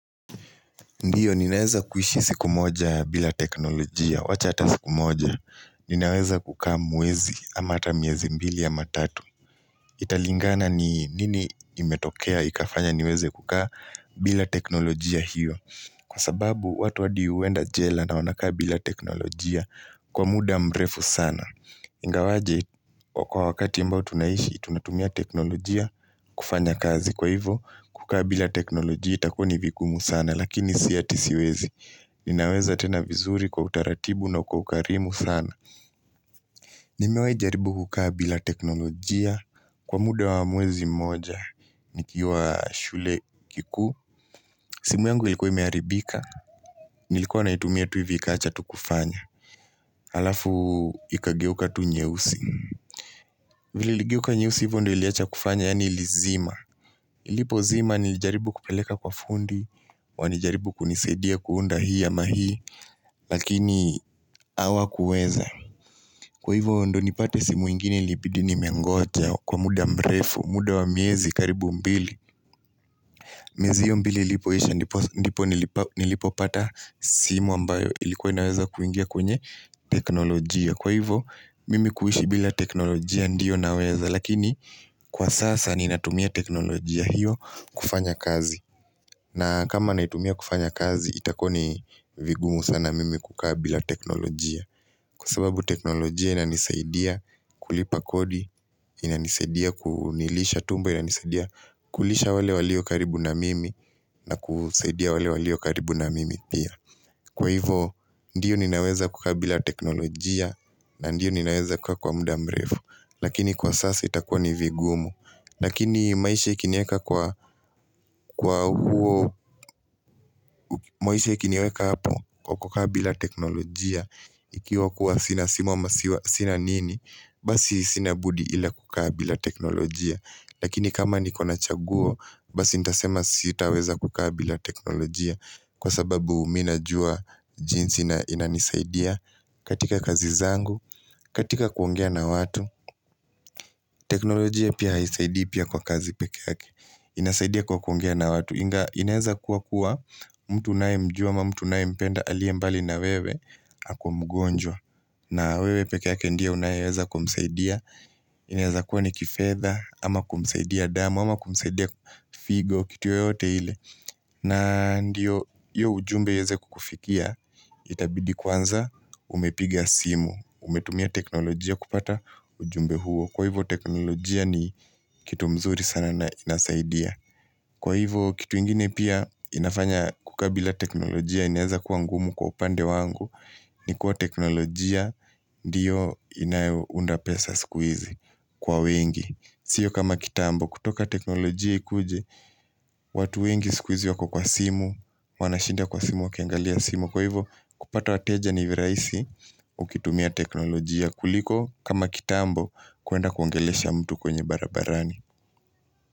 Ndiyo, ninaweza kuishi siku moja bila teknolojia. Wacha hata siku moja, ninaweza kukaa mwezi, ama hata miezi mbili ama tatu. Italingana ni nini imetokea ikafanya niweze kukaa bila teknolojia hiyo. Kwa sababu, watu hadi huenda jela na wanakaa bila teknolojia kwa muda mrefu sana. Ingawaje, kwa wakati ambayo tunaishi, tunatumia teknolojia kufanya kazi. Kwa hivyo, kukaa bila teknolojia itakuwa ni vigumu sana lakini siyo ati siwezi. Ninaweza tena vizuri kwa utaratibu na kwa ukarimu sana. Nimewahi jaribu kukaa bila teknolojia kwa muda wa mwezi mmoja. Nikiwa shule kikuu. Simu yangu ilikuwa imeharibika. Nilikuwa naitumia tu hivi ikawacha tu kufanya. Alafu ikageuka tu nyeusi. Vile iligeuka nyeusi hivyo ndio iliwacha kufanya, yaani ilizima. Ilipozima nilijaribu kupeleka kwa fundi, wanijaribu kunisaidia kuunda hii ama hii, lakini hawakuweza. Kwa hivyo ndio nipate simu ingine ilibidi nimengoja kwa muda mrefu, muda wa miezi karibu mbili. Miezi hiyo mbili ilipoisha ndipo nilipopata simu ambayo ilikuwa inaweza kuingia kwenye teknolojia. Kwa hivyo mimi kuishi bila teknolojia ndiyo naweza lakini kwa sasa ninatumia teknolojia hiyo kufanya kazi na kama naitumia kufanya kazi itakuwa ni vigumu sana mimi kukaa bila teknolojia kwa sababu teknolojia inanisaidia kulipa kodi inanisaidia kunilisha tumbo, inanisaidia kulisha wale walio karibu na mimi na kusaidia wale waliokaribu na mimi pia. Kwa hivyo, ndiyo ninaweza kukaa bila teknolojia na ndiyo ninaweza kukaa kwa muda mrefu. Lakini kwa sasa itakuwa ni vigumu. Lakini maisha ikiniweka kwa, kwa huo, maisha ikiniweka hapo kwa kukaa bila teknolojia Ikiwa kuwa sina simu ama siwa sina nini, basi sina budi ila kukaa bila teknolojia. Lakini kama niko na chaguo basi nitasema sitaweza kukaa bila teknolojia kwa sababu mi najua jinsi inanisaidia katika kazi zangu katika kuongea na watu teknolojia pia haisaidii pia kwa kazi pekee yake inasaidia kwa kuongea na watu. Inaweza kuwa kuwa mtu unaye mjua ama mtu unayempenda aliye mbali na wewe ako mgonjwa na wewe pekee yake ndiye unayeweza kumsaidia inaweza kuwa ni kifedha ama kumsaidia damu ama kumsaidia figo kitu yoyote ile na ndiyo hiyo ujumbe iweze kukufikia itabidi kwanza umepiga simu. Umetumia teknolojia kupata ujumbe huo. Kwa hivyo teknolojia ni kitu mzuri sana na inasaidia. Kwa hivyo kitu ingine pia inafanya kukaa bila teknolojia inaweza kuwa ngumu kwa upande wangu ni kuwa teknolojia ndiyo inayounda pesa siku hizi kwa wengi, Sio kama kitambo, kutoka teknolojia ikuje watu wengi siku hizi wako kwa simu, wanashinda kwa simu wakiangalia simu. Kwa hivyo kupata wateja ni virahisi ukitumia teknolojia kuliko kama kitambo, kuenda kuongelesha mtu kwenye barabarani.